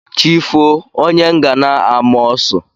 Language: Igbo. Chi foo onye ngana a maa ọ́sụ.